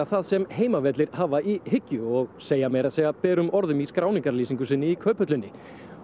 það sem Heimavellir hafa í hyggju og segja segja berum orðum í skráningarlýsingu sinni í Kauphöllinni